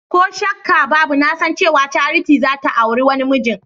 Koh shakkabbabu nasan cewa Charity zata auri wani mijin.